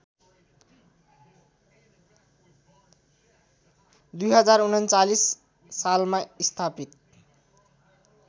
२०३९ सालमा स्थापित